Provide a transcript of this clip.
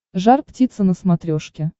жар птица на смотрешке